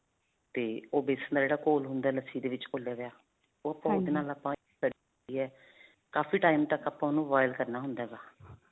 ਤੇ ਉਹ ਬੇਸਨ ਦਾ ਜਿਹੜਾ ਘੋਲ ਹੁੰਦਾ ਹੈ, ਲੱਸੀ ਦੇ ਵਿਚ ਘੋਲਿਆ ਹੋਇਆ ਓਹ ਨਾਲ ਆਪਾਂ ਕਾਫੀ time ਤੱਕ ਆਪਾਂ ਉਹਨੂੰ boil ਕਰਨਾ ਹੁੰਦਾ ਹੈ.